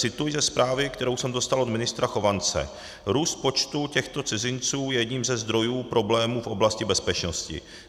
Cituji ze zprávy, kterou jsem dostal od ministra Chovance: Růst počtu těchto cizinců je jedním ze zdrojů problémů v oblasti bezpečnosti.